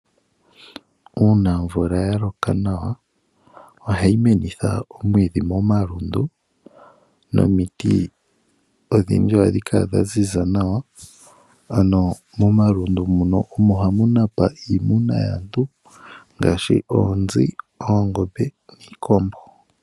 Uuna omvula yaloko nawa oha yi menitha omwiidhi momalundu nomiti odhindji oha dhikala dhaziza nawa, ano momalundu omo hamunapa iimuna yaantu ngaashi oonzi, oongombe niikombo.